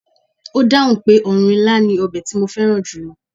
Ó dáhùn pé ọ̀run ilá ni ọbẹ̀ tí mo fẹ́ràn julo